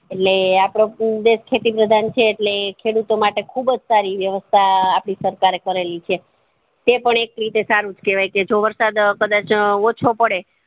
એટલે આપડો દેશ ખેતી પ્રધાન છે એટલે ખેડું તો માટે ખુબજ સારી વ્યવસ્થા આપડી સરકાર એ કરેલી છે તે પણ એક રીતે સારું જ કેવાય છે જો વરસાદ કદાચ ઓછો પડે